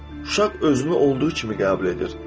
Uşaq özünü olduğu kimi qəbul edir.